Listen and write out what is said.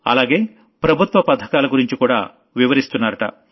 అలాగే ప్రభుత్వ పథకాల గురించి కూడా వివరిస్తున్నారట